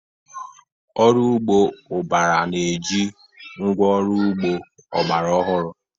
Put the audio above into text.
Ọrụ ugbo ubara na eji ngwa ọrụ ugbo ọgbara ọhụrụ